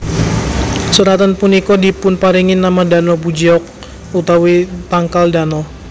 Seratan punika dipunparingi nama Dano bujeok utawi tangkal Dano